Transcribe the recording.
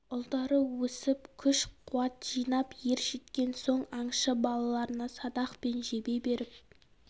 ұлдары өсіп күш қуат жинап ержеткен соң аңшы балаларына садақ пен жебе беріп